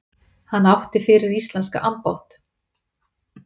Hann átti fyrir íslenska ambátt